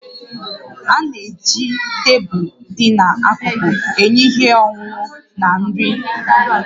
A na-eji tebụl dị n'akụkụ enye ihe ọṅụṅụ na nri